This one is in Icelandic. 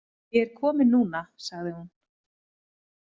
Ég er komin núna, sagði hún.